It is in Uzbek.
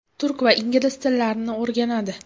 Turk va ingliz tillarini o‘rganadi.